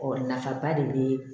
Ɔ nafaba de be